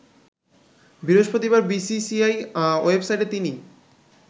বৃহস্পতিবার বিসিসিআই ওয়েবসাইটে তিনি